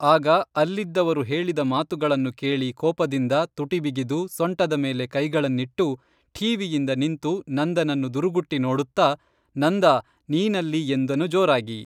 ಆಗ ಅಲ್ಲಿದ್ದವರು ಹೇಳಿದ ಮಾತುಗಳನ್ನು ಕೇಳಿ ಕೋಪದಿಂದ ತುಟಿ ಬಿಗಿದು ಸೊಂಟದ ಮೇಲೆ ಕೈಗಳನ್ನಿಟ್ಟು ಠೀವಿಯಿಂದ ನಿಂತು ನಂದನನ್ನು ದುರುಗುಟ್ಟಿ ನೋಡುತ್ತ ನಂದಾ ನೀನಲ್ಲಿ ಎಂದನು ಜೋರಾಗಿ